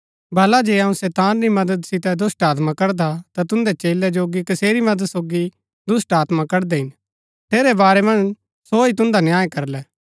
भला जे अऊँ शैतान री मदद सितै दुष्‍टात्मा कडदा ता तुन्दै चेलैजोगी कसेरी मदद सोगी दुष्‍टात्मा कड़दै हिन ठेरै बारै मन्ज सो ही तुन्दा न्याय करलै